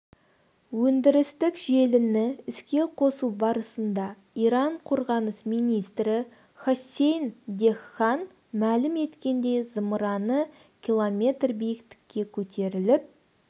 өндірістік желіні іске қосу барысында иран қорғаныс министрі хоссейн дехган мәлім еткендей зымыраны км биіктікке көтеріліп